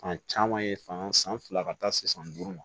Fan caman ye fan san fila ka taa se san duuru ma